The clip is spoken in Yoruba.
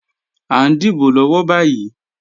À ń dìbò lọ́wọ́ báyì